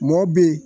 Mɔ bɛ yen